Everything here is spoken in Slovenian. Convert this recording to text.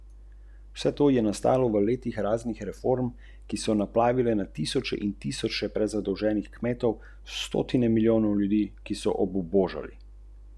Se vam mogoče zdi, da je bila celotna zadeva predstavljena prenapihnjeno?